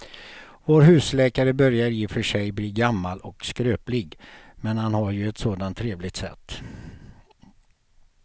Vår husläkare börjar i och för sig bli gammal och skröplig, men han har ju ett sådant trevligt sätt!